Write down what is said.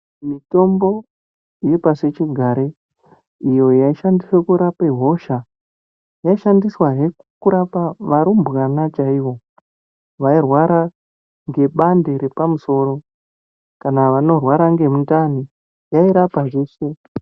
Mitombo yepasi chigare iyo yaishandise kurapa hosha yaishandiswahe kurapa varumbwana chaivo vairwara ngebande repamusoro. Kana vanorwara ngemundani yairapa zveshe.